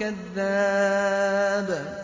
كَذَّابٌ